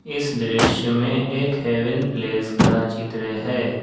इस दृश्य में एक हेवन प्लेस का चित्र है।